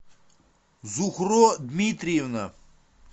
зухро дмитриевна